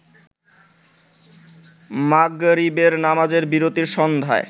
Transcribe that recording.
মাগরিবের নামাজের বিরতির সন্ধ্যায়